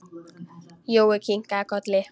Jói kinkaði kolli.